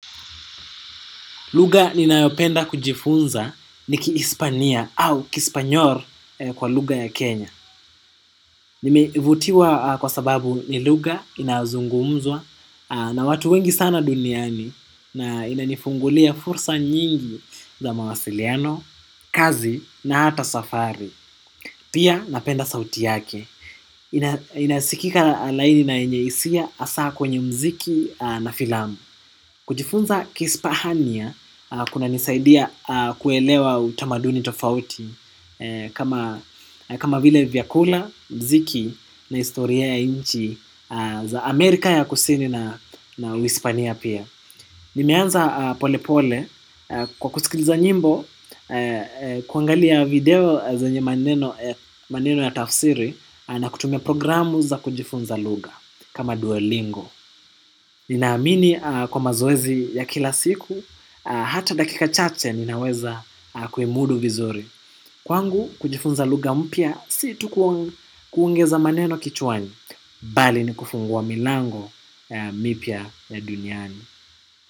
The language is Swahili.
Lugha ninayopenda kujifunza ni kihispania au kispanyor kwa lugha ya Kenya. Nimevutiwa kwa sababu ni lugha inazungumzwa na watu wengi sana duniani na inanifungulia fursa nyingi za mawasiliano, kazi na hata safari. Pia napenda sauti yake. Inasikika laini na yenye hisia hasa kwenye mziki na filamu. Kujifunza kihispania kuna nisaidia kuelewa utamaduni tofauti kama vile vyakula, mziki na historia ya inchi za Amerika ya kusini na hispania pia. Nimeanza pole pole kwa kusikiliza nyimbo kuangalia video zenye maneno ya tafsiri na kutumia programu za kujifunza lugha kama duolingo. Ninaamini kwa mazoezi ya kila siku, hata dakika chache ninaweza kuimudu vizuri. Kwangu kujifunza lugha mpya si tu kuongeza maneno kichwani bali ni kufungua milango mipya ya duniani.